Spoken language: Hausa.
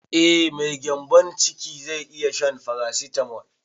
Eh mai gyanbon ciki zai iya shan farasitamol